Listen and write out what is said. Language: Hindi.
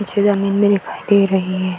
नीचे ज़मीन भी दिखाई दे रही है।